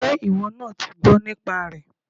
Pé ìwọ náà ti gbọ́ nípa rẹ̀